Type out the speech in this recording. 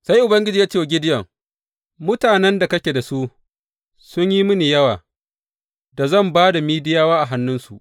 Sai Ubangiji ya ce wa Gideyon, Mutanen da kake da su sun yi mini yawa da zan ba da Midiyawa a hannunsu.